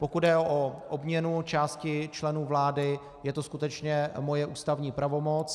Pokud jde o obměnu části členů vlády, je to skutečně moje ústavní pravomoc.